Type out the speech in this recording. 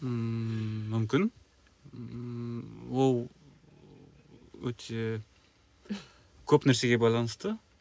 ммм мүмкін ммм ол өте көп нәрсеге байланысты